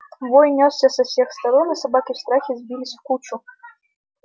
вой нёсся со всех сторон и собаки в страхе сбились в кучу